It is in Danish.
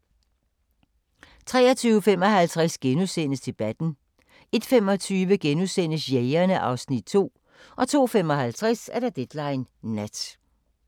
23:55: Debatten * 01:25: Jægerne (Afs. 2)* 02:55: Deadline Nat